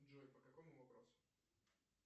джой по какому вопросу